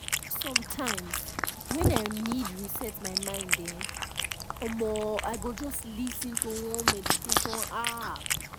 sometimes when i need reset my mind[um][um] i go just lis ten to one meditation app